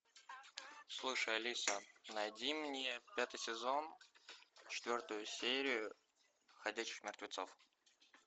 слушай алиса найди мне пятый сезон четвертую серию ходячих мертвецов